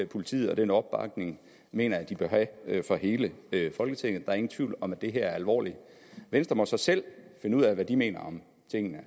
politiet og den opbakning mener jeg de bør have fra hele folketingets er ingen tvivl om at det her er alvorligt venstre må så selv finde ud af hvad de mener om tingene